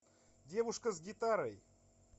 девушка с гитарой